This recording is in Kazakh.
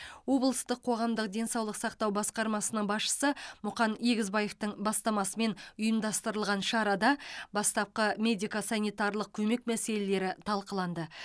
облыстық қоғамдық денсаулық сақтау басқармасының басшысы мұқан егізбаевтың бастамасымен ұйымдастырылған шарада бастапқы медико санитарлық көмек мәселелері талқыланды